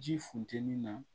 Ji funteni na